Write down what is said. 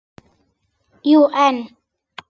Jú, en